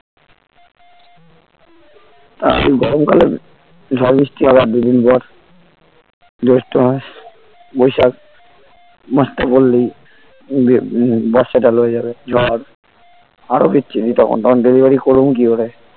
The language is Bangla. তা আর গরমকালে ঝড়-বৃষ্টি হবে আর দুই দিন পর জৈষ্ঠ মাস বৈশাখ মাসটা পড়লেই উম বর্ষাটা লয়ে যাবে ঝড় আরো বিচ্ছিরি তখন delivery করুম কি ভাবে